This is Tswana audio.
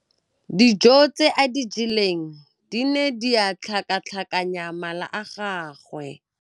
Dijô tse a di jeleng di ne di tlhakatlhakanya mala a gagwe.